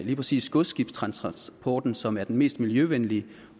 lige præcis godsskibstransporten som er den mest miljøvenlige